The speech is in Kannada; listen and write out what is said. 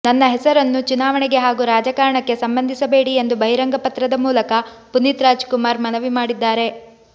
ನನ್ನ ಹೆಸರನ್ನು ಚುನಾವಣೆಗೆ ಹಾಗೂ ರಾಜಕಾರಣಕ್ಕೆ ಸಂಬಂಧಿಸಬೇಡಿ ಎಂದು ಬಹಿರಂಗ ಪತ್ರದ ಮೂಲಕ ಪುನೀತ್ ರಾಜ್ ಕುಮಾರ್ ಮನವಿ ಮಾಡಿದ್ದಾರೆ